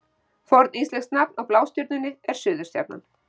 Forníslenskt nafn á Blástjörnunni er Suðurstjarnan.